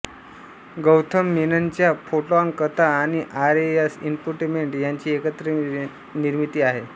Gotham मेननच्या Photon कथा आणि आर एस इन्फोटेमेंट यांची एकत्रित निर्मीती आहे